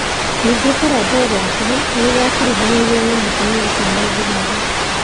Ningĩ kũrathwo gwake ni kwa kuruhanirue na mũtumia ũcio mũthigari.